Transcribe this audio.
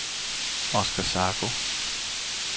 Oskar Zacho